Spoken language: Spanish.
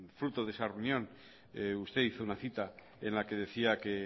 fruto de esa reunión usted hizo una cita en la que decía que